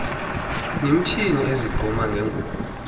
nimthini ezigquma ngengubo